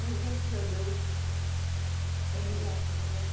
Mas, graças a Deus, estamos aqui. E você